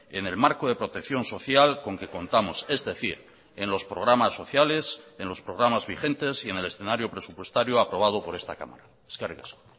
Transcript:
en el marco de protección social con que contamos es decir en los programas sociales en los programas vigentes y en el escenario presupuestario aprobado por esta cámara eskerrik asko